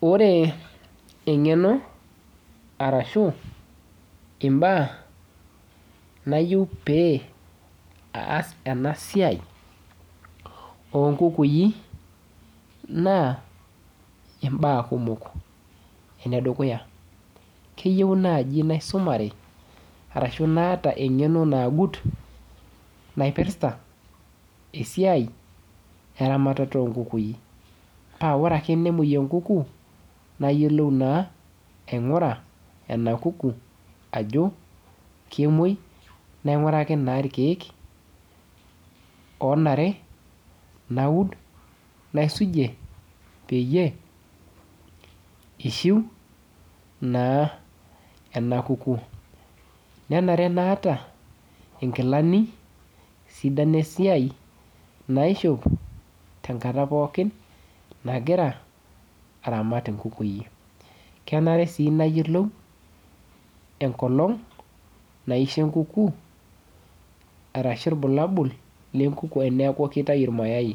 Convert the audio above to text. Ore eng'eno arashu imbaa nayieu pee aas enasiai onkukui, naa imbaa kumok. Enedukuya, keyieu naji naisumare arashu naata eng'eno naagut naipirta esiai eramatata onkukui. Pa ore ake nemoi enkuku, nayiolou naa aing'ura ena kuku ajo, kemoi naing'uraki naa irkeek onare naud naisujie peyie, ishiu naa ena kuku. Nenare naata inkilani sidan esiai naishop tenkata pookin nagira aramat inkukui. Kenare si nayiolou enkolong naisho enkuku arashu ilbulabul lenkuku eneeku kitayu irmayai.